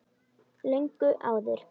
Löngu áður.